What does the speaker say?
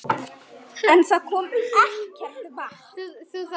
En það kom ekkert vatn.